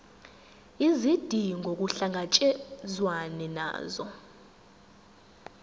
izidingo kuhlangatshezwane nazo